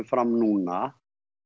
fram núna